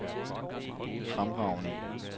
fremragende